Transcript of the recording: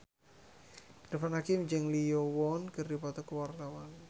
Irfan Hakim jeung Lee Yo Won keur dipoto ku wartawan